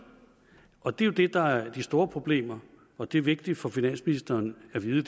og det er jo det der er et af de store problemer og det er vigtigt for finansministeren at vide